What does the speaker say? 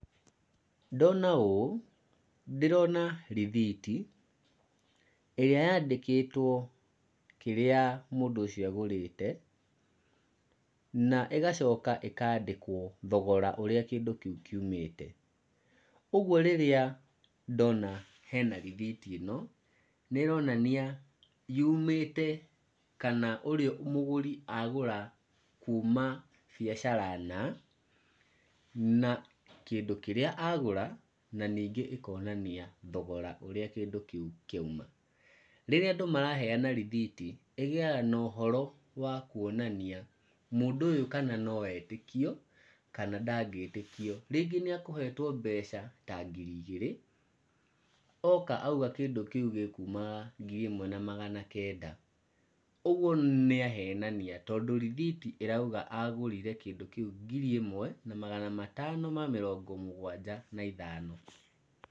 Ndona ũũ, ndĩrona rithiti ĩrĩa yandĩkĩtwo kĩrĩa mũndũ ũcio agũrĩte, na ĩgacoka ĩkandĩkwo thogora ũrĩa kĩndũ kĩu kiũmĩte, ũguo rĩrĩa ndona hena tithiti ĩno, nĩronania yumĩte kana mũgũri agũra kuma biacara na, na kĩndũ kĩrĩa agũra, na ningĩ ĩkonania thogora ũrĩa kĩndũ kĩu kĩauma, rĩrĩa andũ maraheana rithiti ĩgĩaga na ũhoro wa kwonania mũndũ ũyũ kana noetĩkio kana ndangĩtĩkio, rĩngĩ nĩekũhetwo mbeca ta ngiri igĩrĩ, oka auga kĩndũ kĩu gĩkumaga ngiri ĩmwe na magana kenda, ũguo nĩahenania, tondũ rĩu rithiti ĩrauga agũrire kĩndũ kĩu ngiri ĩmwe magana matano ma mĩrongo mũgwanja na ithano.